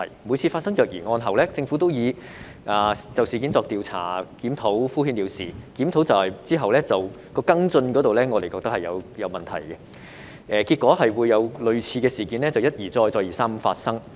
每次發生虐兒案後，政府都以"會就事件作出調查檢討"等回應敷衍了事，而檢討後的跟進工作同樣出現問題，結果類似的事件一而再、再而三地發生。